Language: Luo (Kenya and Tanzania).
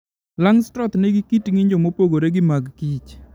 Langstroth nigi kit ng'injo mopogore gi magKich.